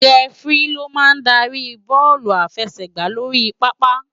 Rèfiri ló má n dári éré bòlú àláfèsègbá lóri pàápá